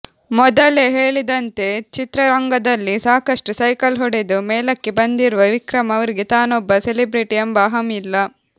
ಮೊದಲೇ ಹೇಳಿದಂತೆ ಚಿತ್ರರಂಗದಲ್ಲಿ ಸಾಕಷ್ಟು ಸೈಕಲ್ ಹೊಡೆದು ಮೇಲಕ್ಕೆ ಬಂದಿರುವ ವಿಕ್ರಮ್ ಅವರಿಗೆ ತಾನೊಬ್ಬ ಸೆಲೆಬ್ರಿಟಿ ಎಂಬ ಅಹಂ ಇಲ್ಲ